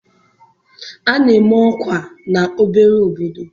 A na-eme ọkwa n'obere obodo.